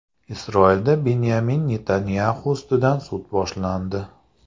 Isroilda Binyamin Netanyaxu ustidan sud boshlandi.